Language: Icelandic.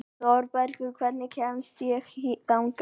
Þorbergur, hvernig kemst ég þangað?